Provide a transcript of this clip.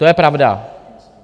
To je pravda.